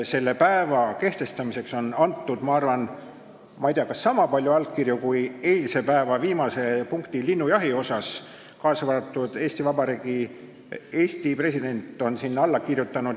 Selle päeva kehtestamiseks on antud ilmselt sama palju allkirju kui eilse päeva viimase punkti, linnujahi puhul, ka Eesti president on sinna alla kirjutanud.